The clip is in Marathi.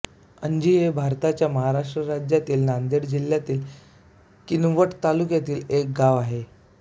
अंजी हे भारताच्या महाराष्ट्र राज्यातील नांदेड जिल्ह्यातील किनवट तालुक्यातील एक गाव आहे